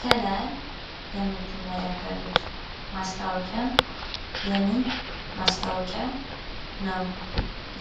ከላይ የምትመለከቱት ማስታወቂያ የምን ማስታወቂያ ይመስላችኳል?